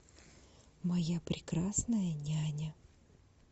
моя прекрасная няня